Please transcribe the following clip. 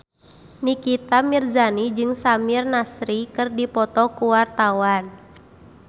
Nikita Mirzani jeung Samir Nasri keur dipoto ku wartawan